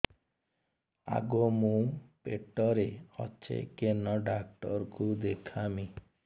ଆଗୋ ମୁଁ ପେଟରେ ଅଛେ କେନ୍ ଡାକ୍ତର କୁ ଦେଖାମି